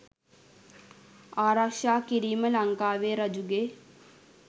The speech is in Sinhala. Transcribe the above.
ආරක්‍ෂා කිරීම ලංකාවේ රජුගේ